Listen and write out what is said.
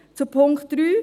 Zu Punkt 3: